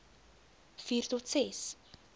vier tot ses